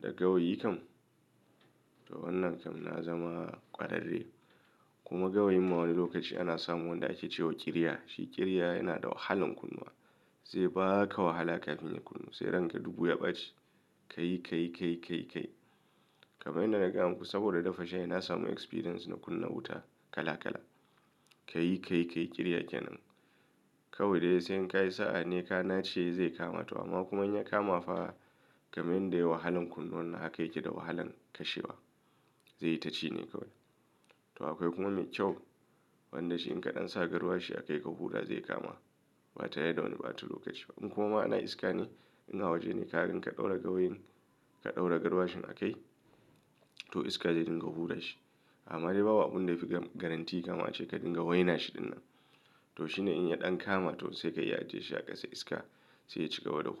da gawayi kam to wannan kam na zama ƙwararre kuma gawayin ma wani lokaci ana samun wanda ake cewa ƙiriya. Shi ƙiriya yana da wahalan kunnawa. Zai ba ka wahala kafin ya kunnu sai ranka dubu ya ɓace. Ka yi ka yi ka yi ka yi kamar yanda na gaya muku saboda dafa shayi na samu experience na kunna wuta kala kala. Ka yi ka yi ka yi ƙiriya kenan kawai dai sai in ka yi sa'a ne ka nace zai kama to amma kuma in ya kama fa kamar yanda yayi wahalan kunnawa haka yake da wahalan kashewa. Zai yi taci ne kawai. To akwai kuma mai kyau wanda shi in ka ɗan sa garwashi akai ka huɗa zai kama ba tare da wani ɓata lokaci ba. In kuma ana iska ne in a waje ne kaga in ka ɗaura gawayin ka ɗaura garwashin a kai to iska zai dinga hura shi amma dai babu abun da yafi ga garantii kamar a ce ka dinga waina shi dinnan. To shi ne in ya ɗan kama to sai ka iya ajiye shi a ƙasa iska sai ya cika wada--